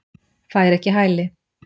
Fær ekki hæli